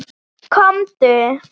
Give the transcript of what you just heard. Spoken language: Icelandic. Komdu